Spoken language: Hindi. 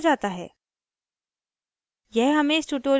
* दातून को चबाते रहने की ज़रुरत है